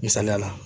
Misaliyala